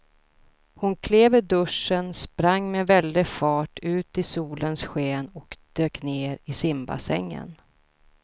Hon klev ur duschen, sprang med väldig fart ut i solens sken och dök ner i simbassängen.